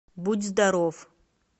будь здоров